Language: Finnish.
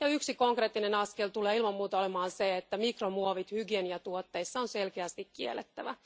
Yksi konkreettinen askel tulee ilman muuta olemaan se, että mikromuovit hygieniatuotteissa on selkeästi kiellettävä.